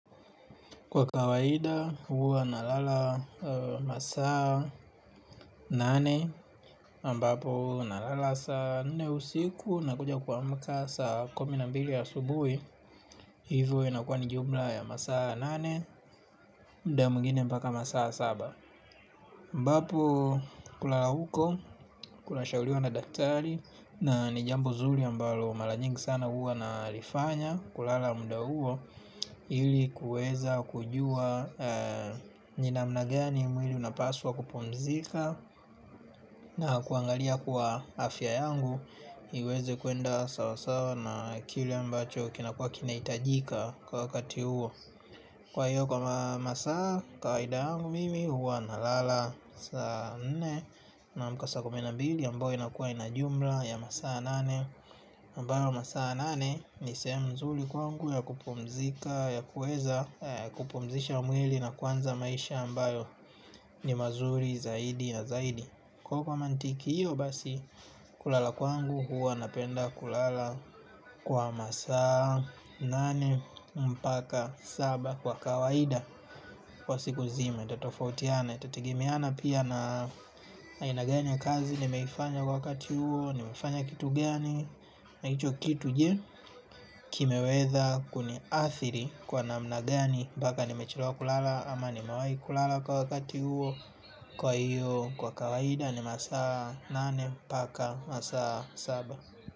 Kwa kawaida huwa na lala masaa nane ambapo na lala saa nne usiku na kuja kua mka saa kumi na mbili ya subuhi. Hivyo inakua ni jumla ya masaa nane. Mda mwengine mpaka masaa saba ambapo kulala huko, kuna shahuliwa na daktari. Na nijambo zuri ambalo mara nyingi sana huwa na lifanya. Kulala muda huo ili kuweza kujua ninamna gani mwili unapaswa kupumzika. Na kuangalia kuwa afya yangu iweze kwenda sawasawa na kile mbacho kinakuwa kinahitajika kwa wakati huo. Kwahiyo kwa masaa kawaida yangu mimi huwa na lala saa nne. Naamka saa kumi na mbili ambayo ina kuwa inajumla ya masaa nane ambayo masaa nane nisehemu nzuri kwangu ya kupumzika ya kuweza kupumzisha mwili na kuanza maisha ambayo ni mazuri zaidi na zaidi. Kwahiyo kwa mantiki hiyo basi kulala kwangu huwa napenda kulala kwa masaa nane mpaka saba kwa kawaida. Kwa siku nzima, tatofautiana, itategemeana pia na aina gani ya kazi, nimeifanya kwa wakati huo, nimeifanya kitu gani, na hicho kitu je, kimeweza kuni athiri kwa na mna gani, mpaka nimechelewa kulala ama nimewahi kulala kwa wakati huo, kwa iyo kwa kawaida ni masaa nane, mpaka masaa saba.